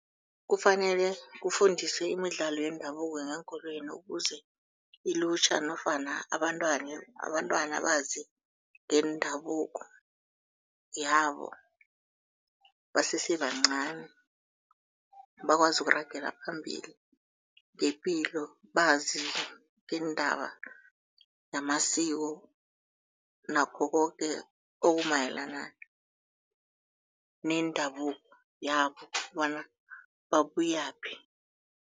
Kufanele kufundiswe imidlalo yendabuko ngeenkolweni ukuze ilutjha nofana abantwana bazi ngendabuko yabo basesebancani. Bakwazi ukuragela phambili ngepilo, bazi ngeendaba namasiko nakho koke okumayelana nendabuko yabo bona babuyaphi.